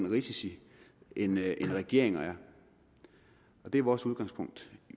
risici end regeringer er og det er vores udgangspunkt